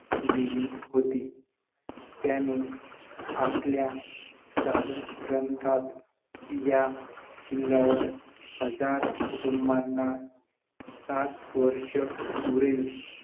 आणि नजिक च्या काळात तर दर दरडोई दरवर्षी ची पाण्याची उपलब्धता पाचशे गनमीटर येवढ्या प्रमाणावर घालवली तर ते मानवी जीवनासाठी अत्यंत